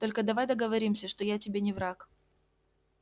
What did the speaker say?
только давай договоримся что я тебе не враг